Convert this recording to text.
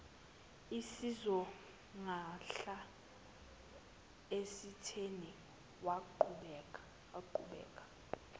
isizogadla esitheni waqhubeka